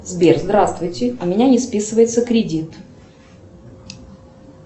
сбер здравствуйте у меня не списывается кредит